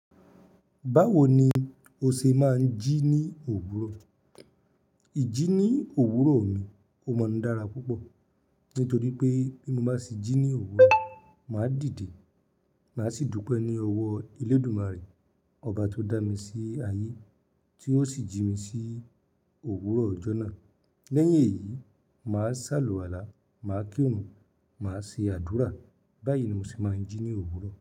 Báwo ni o ṣe máa ń jí ní òwúrọ̀? Ijí ní òwúrọ̀ mi o maa n dára púpọ̀. Nítorí pé bí mo bá ṣe jí ní òwúrọ̀, màá dìde, màá sì dúpẹ́ ní ọwọ́ Elédùmarè, ọba tó dá mi sí ayé, tí ó sì jí mi sí òwúrọ̀ ọjọ́ náà. Lẹ́yìn èyí, màá sàlùwàlá, màá kirùn, màá ṣe àdúrà. Báyìí ni mo ṣe máa ń jí ní òwúrọ̀.